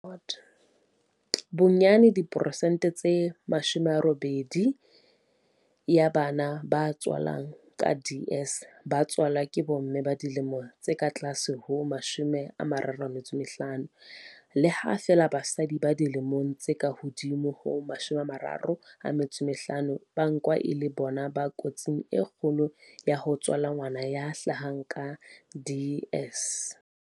Bonyane diperesente tse 80 ya bana ba angwang ke DS ba tswalwa ke bomme ba dilemo tse ka tlase ho 35, le ha feela basadi ba dilemo tse ka hodimo ho 35 ba nkwa e le bona ba kotsing e kgolokgolo ya ho tswala ngwana ya hlahang ka DS.